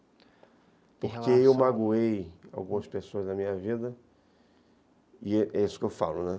Porque eu magoei algumas pessoas na minha vida, e é isso que eu falo, né?